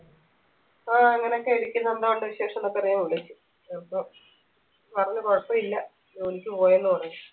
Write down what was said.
ആ എങ്ങനെയൊക്കെ ഇരിക്ക്ന്ന് എന്തോ ഉണ്ട് വിശേഷം ന്നൊക്കെ അറിയാൻ വിളിച്ചു അപ്പം പറഞ്ഞു കുഴപ്പില്ല ജോലിക്ക് പോയെന്ന് പറഞ്ഞു